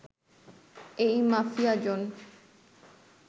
এই মাফিয়া ডন